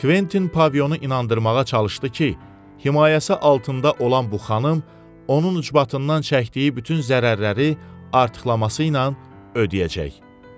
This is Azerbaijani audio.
Kventin Pavilyonu inandırmağa çalışdı ki, himayəsi altında olan bu xanım onun ucbatından çəkdiyi bütün zərərləri artıqlaması ilə ödəyəcək.